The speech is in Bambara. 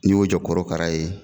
N'i y'o jɔ kɔrɔkara ye